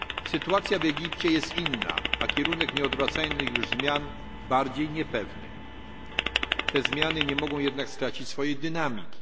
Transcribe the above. Sytuacja w Egipcie jest inna, a kierunek nieodwracalnych już zmian bardziej niepewny. Te zmiany nie mogą jednak stracić swojej dynamiki.